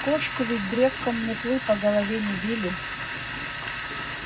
кошку ведь древком метлы по голове не били